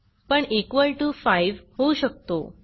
पण equal to 5 होऊ शकतो